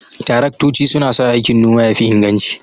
Taraktoci suna sa aikin noma ya fi inganci.